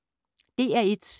DR1